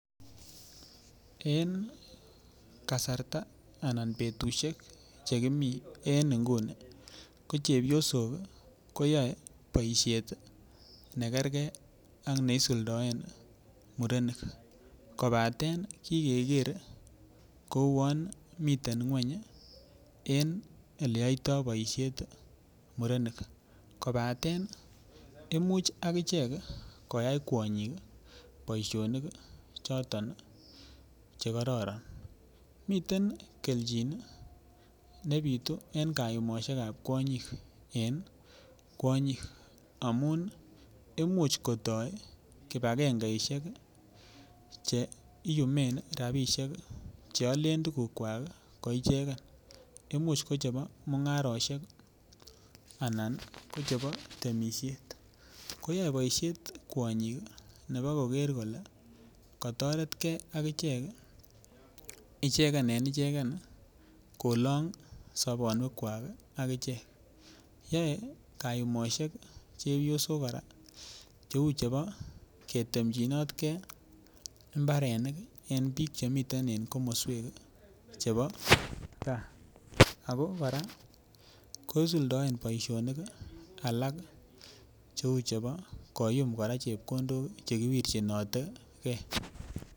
En kasarta anan betusiek che kimi en inguni, ko chepyosok ii koyoe boisiet ii ne kerkei ak neisuldoen ii murenik, kobaten kikeker ii kouon miten nguny ii en eleyoitoi boisiet murenik, kobaten imuch akichek koyai kwonyik boisionik ii choton ii che kororon, miten kelchin ii ne bitu en kayumosiekab kwonyik en kwonyik, amun imuch kotoi kibakengeisiek che iyumen ii rabiisiek ii che alen tukukwak ii koicheken, imuch ko chebo mungarosiek ii anan ko chebo temisiet, koyoe boisiet kwonyik ii nebo koker kole, katoretkei ak ichek ii icheken en icheken kolong sobonwekwak ii ak ichek, yoe kayumosiek chepyosok kora cheu chebo ketemchinotkei imbarenik ii en piik chemiten en komoswek ii chebo gaa, ako kora kosuldoen boisionik alak cheu chebo koyum kora chepkondok che kiwirchinotekei.